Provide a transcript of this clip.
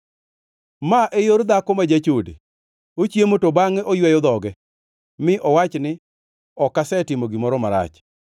“Ma e yor dhako ma jachode: Ochiemo to bangʼe oyweyo dhoge, mi owach ni, ‘Ok asetimo gimoro marach.’